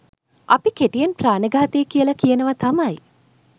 අපි කෙටියෙන් ප්‍රාණඝාතය කියලා කියනවා තමයි.